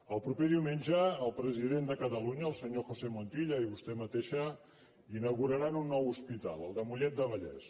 el proper diumenge el president de catalunya el senyor josé montilla i vostè mateixa inauguraran un nou hospital el de mollet del vallès